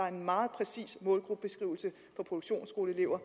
en meget præcis målgruppebeskrivelse for produktionsskoleelever